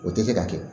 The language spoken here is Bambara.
O tɛ se ka kɛ